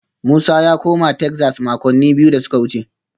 Musa ya koma Texas makonni biyu da suka wuce